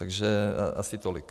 Takže asi tolik.